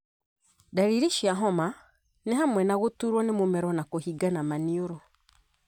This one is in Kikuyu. Ndariri cia homa nĩhamwe na gũturwo nĩ mũmero na kũhingana maniũrũ.